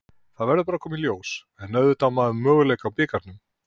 Það verður bara að koma í ljós, en auðvitað á maður möguleika í bikarnum.